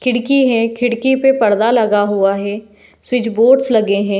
खिड़की है। खिड़की पे पर्दा लगा हुआ है। स्विच बोर्डस लगे हैं।